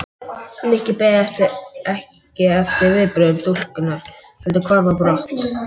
Nikki beið ekki eftir viðbrögðum stúlkunnar heldur hvarf á brott.